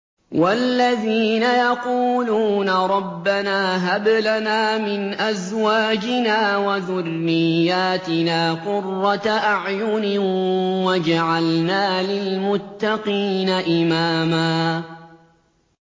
وَالَّذِينَ يَقُولُونَ رَبَّنَا هَبْ لَنَا مِنْ أَزْوَاجِنَا وَذُرِّيَّاتِنَا قُرَّةَ أَعْيُنٍ وَاجْعَلْنَا لِلْمُتَّقِينَ إِمَامًا